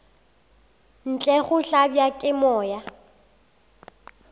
ntle go hlabja ke moya